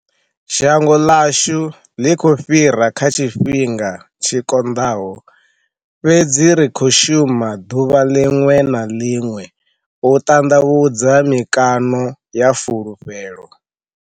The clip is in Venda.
Shango ḽashu ḽi khou fhira kha tshifhinga tshi konḽaho, fhedzi ri khou shuma ḽuvha ḽiḽwe na ḽiḽwe u ḽanḽavhudza mikano ya fulufhelo.